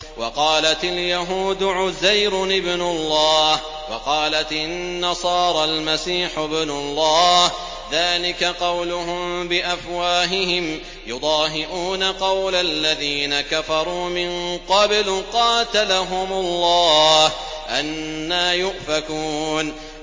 وَقَالَتِ الْيَهُودُ عُزَيْرٌ ابْنُ اللَّهِ وَقَالَتِ النَّصَارَى الْمَسِيحُ ابْنُ اللَّهِ ۖ ذَٰلِكَ قَوْلُهُم بِأَفْوَاهِهِمْ ۖ يُضَاهِئُونَ قَوْلَ الَّذِينَ كَفَرُوا مِن قَبْلُ ۚ قَاتَلَهُمُ اللَّهُ ۚ أَنَّىٰ يُؤْفَكُونَ